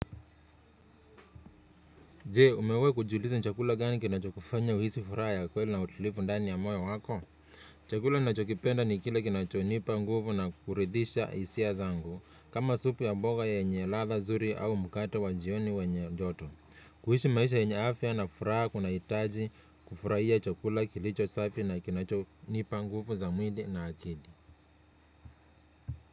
Je, umewahi kujiuliza ni chakula gani kinachokufanya uhisi furaha ya kweli na utulivu ndani ya moyo wako? Chakula ninachokipenda ni kile kinachonipa nguvu na kuridhisha hisia zangu, kama supu ya mboga yenye ladha zuri au mkate wa jioni wenye joto. Kuishi maisha yenye afya na furaha kunahitaji kufurahia chakula kilicho safi na kinachonipa nguvu za mwili na akili.